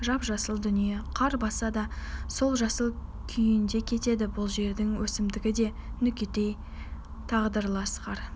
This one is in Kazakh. жап-жасыл дүние қар басса да сол жасыл күйінде кетеді бұл жердің өсімдігі де нүкетай тағдырлас қар